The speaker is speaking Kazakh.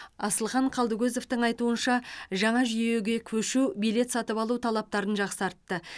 асылхан қалдыкозовтың айтуынша жаңа жүйеге көшу билет сатып алу талаптарын жақсартты